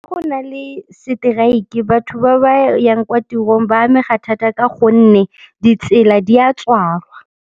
Go na le seteraeke, batho ba ba yang kwa tirong ba amega thata ka gonne ditsela di a tswalwa.